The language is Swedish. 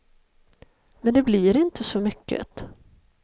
Men det blir inte så mycket.